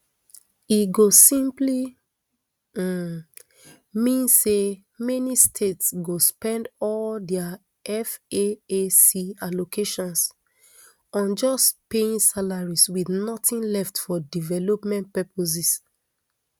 e go simply um mean say many states go spend all dia faac allocations on just paying salaries wit nothing left for development purposes